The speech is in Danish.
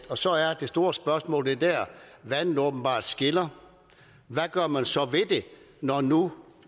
så er det store spørgsmål og det er der vandene åbenbart skiller hvad gør man så ved det når nu